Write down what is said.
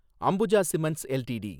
Ambuja cements LTD